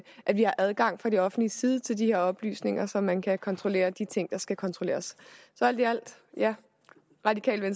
har adgang fra det offentliges side til de her oplysninger så man kan kontrollere de ting der skal kontrolleres så alt i alt radikale